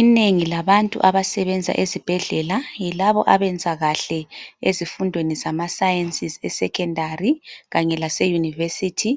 Inengi labantu abasebenza ezibhedlela yilabo abenza kahle ezifundweni zamaSciences eSecondary kanye laseyunivesithi.